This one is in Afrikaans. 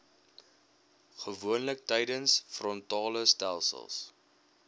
gewoonlik tydens frontalestelsels